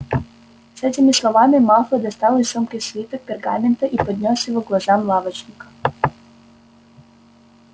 с этими словами малфой достал из сумки свиток пергамента и поднёс его к глазам лавочника